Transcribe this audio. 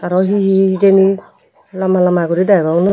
aro hi hi hijeni lamba lamba guri degong.